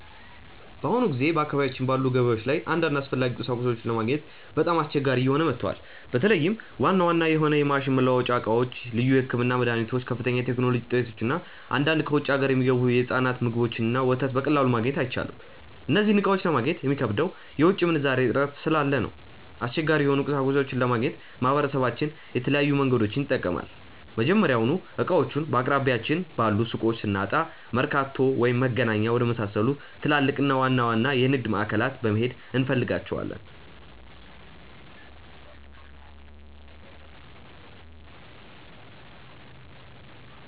በአሁኑ ጊዜ በአካባቢያችን ባሉ ገበያዎች ላይ አንዳንድ አስፈላጊ ቁሳቁሶችን ለማግኘት በጣም አስቸጋሪ እየሆነ መጥቷል። በተለይም ዋና ዋና የሆኑ የማሽን መለዋወጫ ዕቃዎች፣ ልዩ የሕክምና መድኃኒቶች፣ ከፍተኛ የቴክኖሎጂ ውጤቶች እና አንዳንድ ከውጭ አገር የሚገቡ የሕፃናት ምግቦችንና ወተት በቀላሉ ማግኘት አይቻልም። እነዚህን ዕቃዎች ለማግኘት የሚከብደው የውጭ ምንዛሬ እጥረት ስላለ ነው። አስቸጋሪ የሆኑ ቁሳቁሶችን ለማግኘት ማህበረሰባችን የተለያዩ መንገዶችን ይጠቀማል። መጀመሪያውኑ ዕቃዎቹን በአቅራቢያችን ባሉ ሱቆች ስናጣ፣ መርካቶ ወይም መገናኛ ወደመሳሰሉ ትላልቅና ዋና ዋና የንግድ ማዕከላት በመሄድ እንፈልጋቸዋለን።